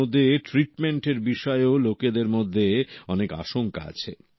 যার মধ্যে ট্রিটমেন্টের বিষয়েও লোকেদের মধ্যে অনেক আশঙ্কা আছে